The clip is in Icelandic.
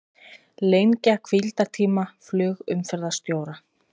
Lengja hvíldartíma flugumferðarstjóra